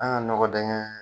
An ga nɔkɔ dingɛ